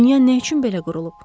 Dünya nə üçün belə qurulub?